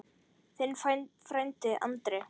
Þinn frændi Andri.